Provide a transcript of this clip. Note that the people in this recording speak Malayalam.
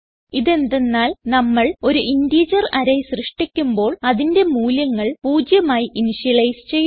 ഇതെന്തന്നാൽ നമ്മൾ ഒരു ഇന്റിജർ അറേ സൃഷ്ടിക്കുമ്പോൾ അതിന്റെ മൂല്യങ്ങൾ പൂജ്യമായി ഇന്ത്യലൈസ് ചെയ്യുന്നു